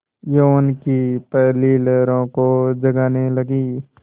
यौवन की पहली लहरों को जगाने लगी